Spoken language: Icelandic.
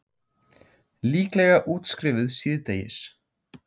Líklega útskrifuð síðdegis